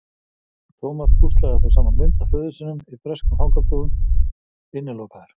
Thomas púslaði þó saman mynd af föður sínum í breskum fangabúðum: Innilokaður.